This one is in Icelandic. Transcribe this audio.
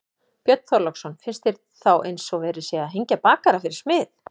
Björn Þorláksson: Finnst þér þá eins og það sé verið að hengja bakara fyrir smið?